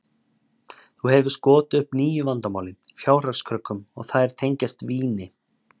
Þó hefur skotið upp nýju vandamáli, fjárhagskröggum, og þær tengjast víni.